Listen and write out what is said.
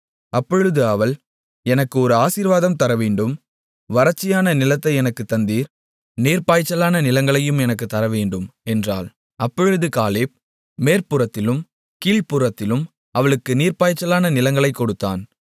அப்பொழுது அவள் எனக்கு ஒரு ஆசீர்வாதம் தரவேண்டும் வறட்சியான நிலத்தை எனக்குத் தந்தீர் நீர்ப்பாய்ச்சலான நிலங்களையும் எனக்குத் தரவேண்டும் என்றாள் அப்பொழுது காலேப் மேற்புறத்திலும் கீழ்ப்புறத்திலும் அவளுக்கு நீர்ப்பாய்ச்சலான நிலங்களைக் கொடுத்தான்